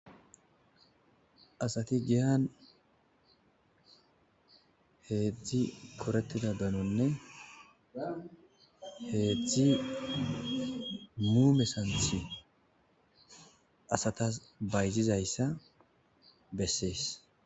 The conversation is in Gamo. Asati giyan heedzdzi korettida banonne heedzdzi mu mesanthi asatas bayzizayssa bessees.